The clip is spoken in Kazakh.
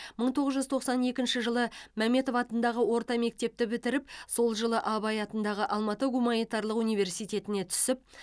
мың тоғыз жүз тоқсан екінші жылы мәметов атындағы орта мектепті бітіріп сол жылы абай атындағы алматы гуманитарлық университетіне түсіп